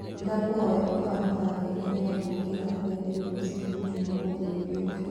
ndakũhoyaũkahũra ngengere ya gũũkĩra thaaĩgĩrĩ rũcĩĩnĩ jũmamothĩ yũũkite